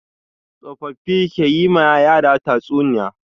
Tsofaffi ke yi ma yara tatsuniya.